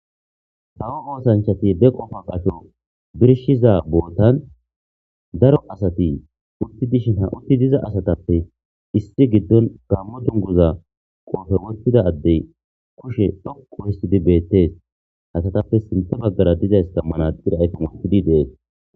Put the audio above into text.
Kawo osanachati be qoffa qacho bishiza botan daro asati uti diza asatape issi gidon gamo duguza qofe Adey kushe dhoqu histidi betese asatape sintha bagara diza manaxire ayfen wothidi des